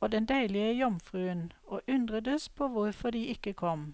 og den deilige jomfruen, og undredes på hvorfor de ikke kom.